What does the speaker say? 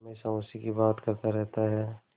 हमेशा उसी की बात करता रहता है